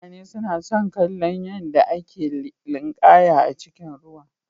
Mutane suna son kallon yadda ake linƙaya a cikin ruwa.